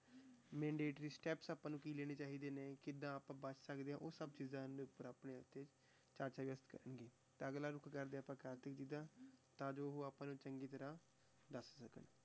Mandatory steps ਆਪਾਂ ਨੂੰ ਕੀ ਲੈਣੇ ਚਾਹੀਦੇ ਨੇ, ਕਿੱਦਾਂ ਆਪਾਂ ਬਚ ਸਕਦੇ ਹਾਂ ਉਹ ਸਭ ਚੀਜ਼ਾਂ ਦੇ ਉੱਪਰ ਆਪਣੇ ਇੱਥੇ ਚਰਚਾ ਕਰਾਂਗੇ, ਤਾਂ ਅਗਲਾ ਰੁੱਖ ਕਰਦੇ ਹਾਂ ਆਪਾਂ ਕਾਰਤਿਕ ਜੀ ਦਾ ਤਾਂ ਜੋ ਉਹ ਆਪਾਂ ਨੂੰ ਚੰਗੀ ਤਰ੍ਹਾਂ ਦੱਸ ਸਕਣ।